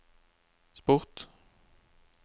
sport